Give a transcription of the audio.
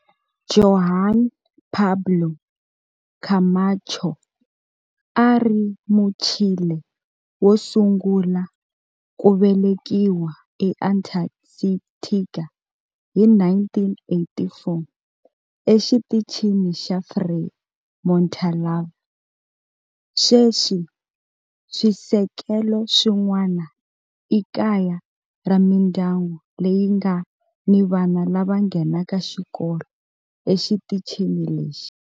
Juan Pablo Camacho a a ri Muchile wo sungula ku velekiwa eAntarctica hi 1984 eXitichini xa Frei Montalva. Sweswi swisekelo swin'wana i kaya ra mindyangu leyi nga ni vana lava nghenaka xikolo exitichini lexi.